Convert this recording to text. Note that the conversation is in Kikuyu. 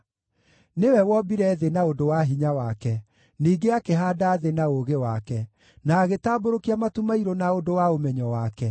“Nĩwe wombire thĩ na ũndũ wa hinya wake; ningĩ akĩhaanda thĩ na ũũgĩ wake, na agĩtambũrũkia matu mairũ na ũndũ wa ũmenyo wake.